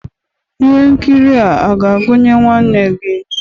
Ihe nkiri a ga-agụnye nwanne gị?